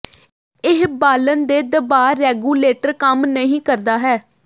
ਇਹ ਬਾਲਣ ਦੇ ਦਬਾਅ ਰੈਗੂਲੇਟਰ ਕੰਮ ਨਹੀ ਕਰਦਾ ਹੈ